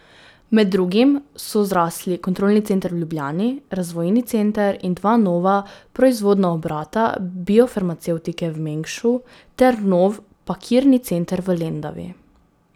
Med drugim so zrasli kontrolni center v Ljubljani, razvojni center in dva nova proizvodna obrata biofarmacevtike v Mengšu ter nov pakirni center v Lendavi.